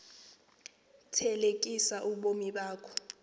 thelekisa ubomi bakho